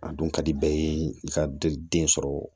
A dun ka di bɛɛ ye i ka den sɔrɔ